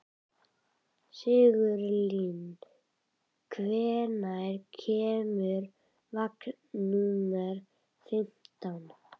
Sigurlinn, hvenær kemur vagn númer fimmtán?